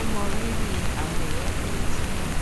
ó mọrírì àwọn ìránnilétí náà